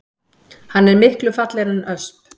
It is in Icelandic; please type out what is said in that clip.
Hann er miklu fallegri en ösp